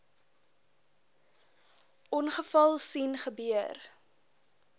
ongeval sien gebeur